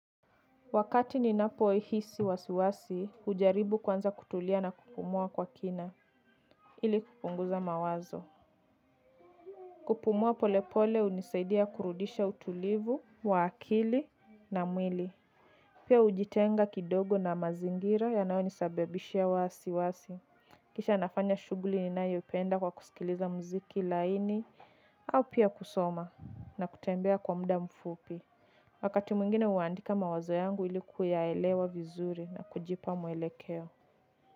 Wakati ninapoihisi wasiwasi, hujaribu kwanza kutulia na kupumua kwa kina, ili kupunguza mawazo. Kupumua pole pole unisaidia kurudisha utulivu, wa akili na mwili. Pia ujitenga kidogo na mazingira yanayo nisabibishia wasiwasi. Kisha nafanya shughli ninayoipenda kwa kusikiliza mziki laini, au pia kusoma na kutembea kwa mda mfupi. Wakati mwingine huandika mawazo yangu ili kuyaelewa vizuri na kujipa mwelekeo.